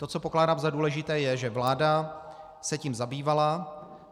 To, co pokládám za důležité je, že vláda se tím zabývala.